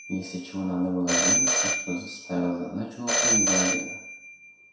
если чего надо было сделать так что ставил задачу выполнить до обеда